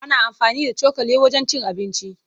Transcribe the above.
Ana amfani da cokali wajen cin abinci.